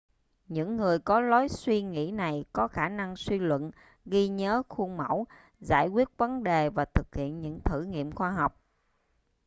những người có lối suy nghĩ này có khả năng suy luận ghi nhớ khuôn mẫu giải quyết vấn đề và thực hiện những thử nghiệm khoa học